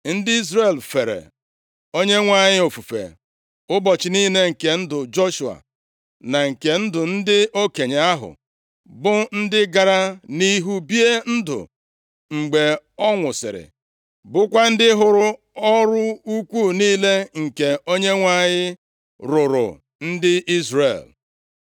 Ndị Izrel fere + 2:7 Maọbụ, gbasokwara Onyenwe anyị ofufe ụbọchị niile nke ndụ Joshua, na nke ndụ ndị okenye ahụ, bụ ndị gara nʼihu bie ndụ mgbe ọ nwụsịrị, bụkwa ndị hụrụ ọrụ ukwuu niile nke Onyenwe anyị rụụrụ ndị Izrel.